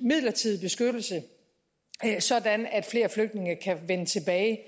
midlertidig beskyttelse sådan at flere flygtninge kan vende tilbage